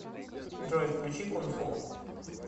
джой включи кунфу